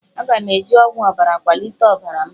Aga m eji ọgwụ ọbara kwalite ọbara m